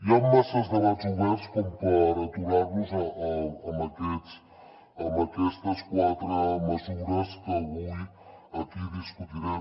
hi han masses debats oberts com per aturar los amb aquestes quatre mesures que avui aquí discutirem